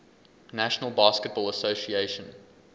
national basketball association